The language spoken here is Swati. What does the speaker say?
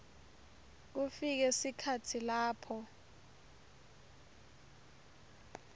kufike sikhatsi lapho